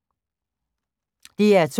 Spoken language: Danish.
DR2